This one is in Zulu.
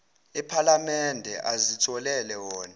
ephalamende azitholele wona